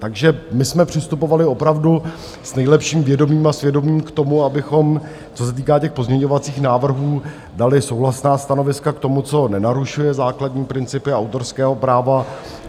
Takže my jsme přistupovali opravdu s nejlepším vědomím a svědomím k tomu, abychom, co se týká těch pozměňovacích návrhů, dali souhlasná stanoviska k tomu, co nenarušuje základní principy autorského práva.